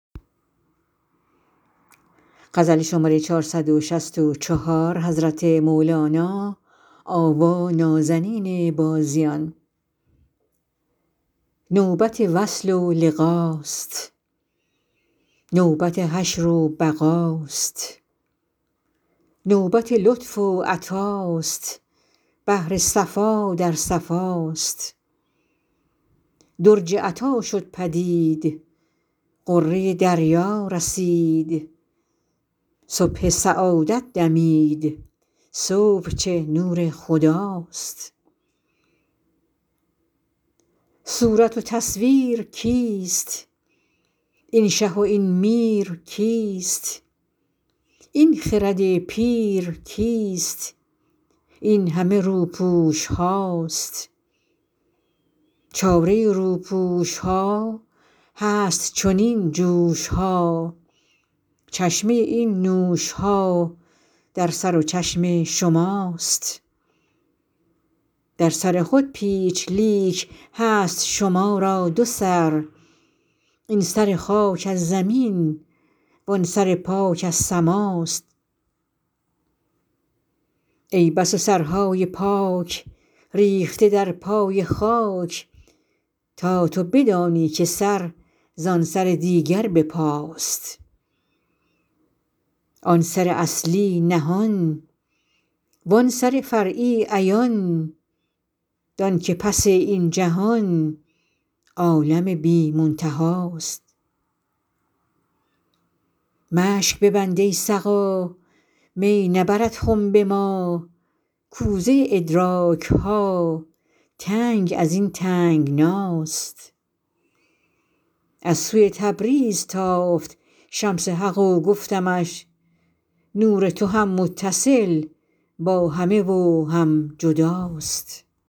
نوبت وصل و لقاست نوبت حشر و بقاست نوبت لطف و عطاست بحر صفا در صفاست درج عطا شد پدید غره دریا رسید صبح سعادت دمید صبح چه نور خداست صورت و تصویر کیست این شه و این میر کیست این خرد پیر کیست این همه روپوش هاست چاره روپوش ها هست چنین جوش ها چشمه این نوش ها در سر و چشم شماست در سر خود پیچ لیک هست شما را دو سر این سر خاک از زمین وان سر پاک از سماست ای بس سرهای پاک ریخته در پای خاک تا تو بدانی که سر زان سر دیگر به پاست آن سر اصلی نهان وان سر فرعی عیان دانک پس این جهان عالم بی منتهاست مشک ببند ای سقا می نبرد خنب ما کوزه ادراک ها تنگ از این تنگناست از سوی تبریز تافت شمس حق و گفتمش نور تو هم متصل با همه و هم جداست